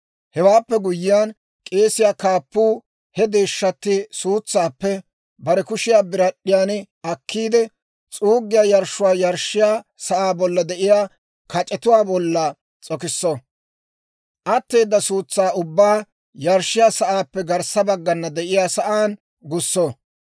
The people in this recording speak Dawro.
Hewaappe guyyiyaan, k'eesiyaa kaappuu he deeshshatti suutsaappe bare kushiyaa birad'd'iyaan akkiide, s'uuggiyaa yarshshuwaa yarshshiyaa sa'aa bolla de'iyaa kac'etuwaa bolla s'okisso; atteeda suutsaa ubbaa yarshshiyaa sa'aappe garssa baggana de'iyaa sa'aan gusso.